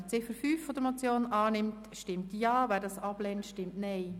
Wer die Ziffer 5 annimmt, stimmt Ja, wer dies ablehnt, stimmt Nein.